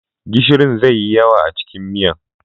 Gishirin zai yi yawa a cikin miyan.